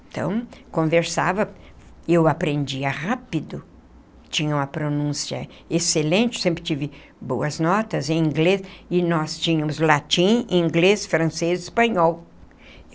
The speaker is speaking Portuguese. Então, conversava, e eu aprendia rápido, tinha uma pronúncia excelente, sempre tive boas notas em inglês, e nós tínhamos latim, inglês, francês e espanhol.